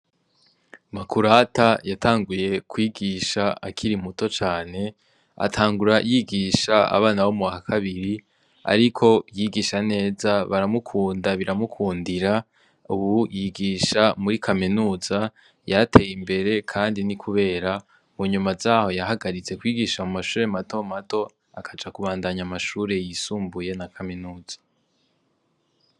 Makurata yatanguye kwigisha akiri muto cane, atangura yigisha abana bo muwa kabiri ariko yigisha neza baramukunda biramukundura. Ubu yigisha muri kaminuza yarateye imbere kandi ni kubera mu nyuma zaho yahagaritse kwigisha mu mashure matomato akaja kubandanya amashure yisumbuye na kaminuza.